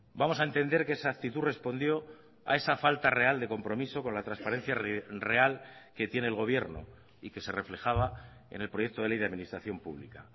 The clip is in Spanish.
vamos a entender que esa actitud respondió a esa falta real de compromiso con la transparencia real que tiene el gobierno y que se reflejaba en el proyecto de ley de administración pública